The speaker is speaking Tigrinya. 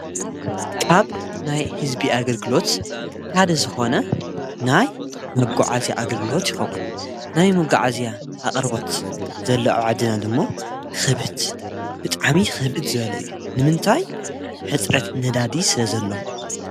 ካብ ናይ ህዝቢ ኣገልግሎት ሓደ ዝኾነ ናይ መጕዓዚያ ኣገልግሎት ይኸውን። ናይ መጎዓዝያ ኣቕርቦት ዘሎ አብ ዓዲና ደሞ ኽብድ ብጣዕሚ ኽብድ ዝበለ እዩ። ንምንታይ ሕፅረት ነዳዲ ስለ ዘሎ።